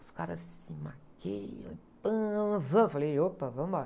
os caras se maquiam, vamos? Eu falei, opa, vamos embora.